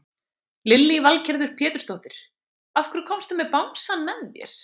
Lillý Valgerður Pétursdóttir: Af hverju komstu með bangsann með þér?